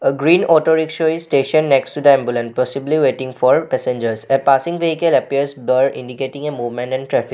A green auto rickshaw is stationed next to the ambulance and possibly waiting for passengers. A passing vehicle appears their indicating a movement and traffic.